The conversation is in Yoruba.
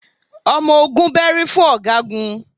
Ọmọ ogun bẹ́rí fún ọ̀gágun